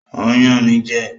Ó ń yàn mí jẹ